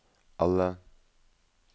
alle